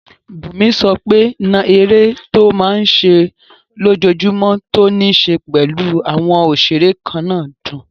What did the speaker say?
Bùnmi sọ pé náà eré tó máa n ṣe lójojúmọ́ tó ní ṣe pẹ̀lú àwọn òṣeré kannáà dùn